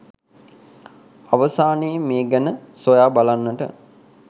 අවසානයේ මේ ගැන සොයා බලන්නට